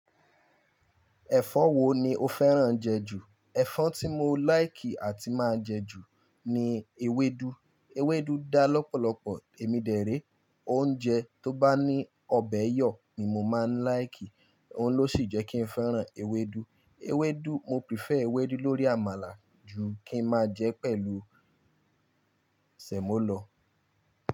Ẹ̀fọ́ wo ni o fẹ́ràn jẹ jù? Ẹ̀fọ́ tí mo like àti máa ń jẹ jù ni ewédú. Ewédú dá lọ́pọ̀lọpọ̀. Èmi dèré oúnjẹ tó bá ní ọbẹ̀ yọ̀ ni mo máa ń láìkì, òun ló sì jẹ́ kí n fẹ́ràn ewédú. Ewédú, mo prefer ewédú lórí àmàlà ju kí ń má jẹ pẹ̀lú sẹ̀mọ́ lọ̀